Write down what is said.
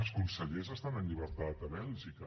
els consellers estan en llibertat a bèlgica